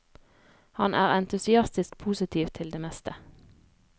Han er entusiastisk positiv til det meste.